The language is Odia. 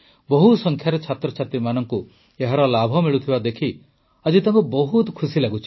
ବହୁ ସଂଖ୍ୟାରେ ଛାତ୍ରଛାତ୍ରୀମାନଙ୍କୁ ଏହାର ଲାଭ ମିଳୁଥିବା ଦେଖି ଆଜି ତାଙ୍କୁ ବହୁତ ଖୁସି ଲାଗୁଛି